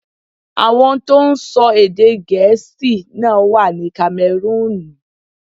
Àwọn tó ń sọ èdè Gẹ̀ẹ́sì náà wà ní Kamẹrúùnù.